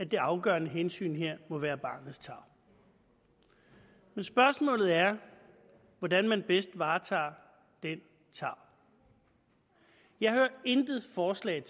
det afgørende hensyn her må være barnets tarv men spørgsmålet er hvordan man bedst varetager den tarv jeg hører intet forslag